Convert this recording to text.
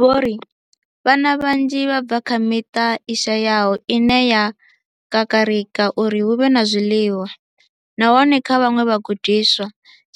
Vho ri vhana vhanzhi vha bva kha miṱa i shayaho ine ya kakarika uri hu vhe na zwiḽiwa, nahone kha vhaṅwe vhagudiswa,